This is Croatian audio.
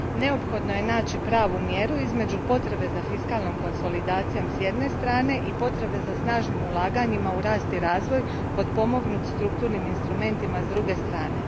Neophodno je naći pravu mjeru između potrebe za fiskalnom konsolidacijom, s jedne strane, i potrebe za snažnim ulaganjima u rast i razvoj potpomognut strukturnim instrumentima, s druge strane.